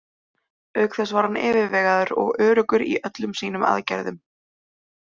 Auk þess var hann yfirvegaður og öruggur í öllum sínum aðgerðum.